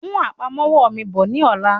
Mú àpamọ́wọ́ mi bọ̀ ní ọ̀la.